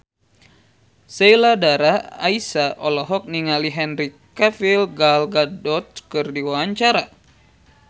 Sheila Dara Aisha olohok ningali Henry Cavill Gal Gadot keur diwawancara